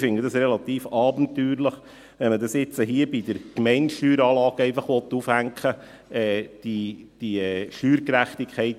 Ich finde es relativ abenteuerlich, wenn man jetzt diese Steuergerechtigkeit, die er angesprochen hat, hier an der Gemeindesteueranlage aufhängen will.